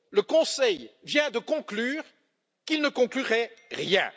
Le Conseil vient de conclure qu'il ne conclurait rien.